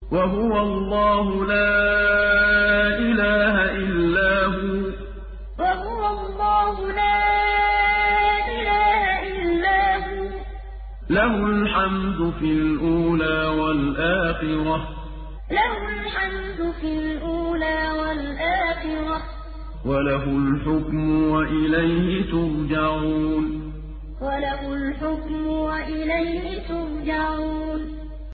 وَهُوَ اللَّهُ لَا إِلَٰهَ إِلَّا هُوَ ۖ لَهُ الْحَمْدُ فِي الْأُولَىٰ وَالْآخِرَةِ ۖ وَلَهُ الْحُكْمُ وَإِلَيْهِ تُرْجَعُونَ وَهُوَ اللَّهُ لَا إِلَٰهَ إِلَّا هُوَ ۖ لَهُ الْحَمْدُ فِي الْأُولَىٰ وَالْآخِرَةِ ۖ وَلَهُ الْحُكْمُ وَإِلَيْهِ تُرْجَعُونَ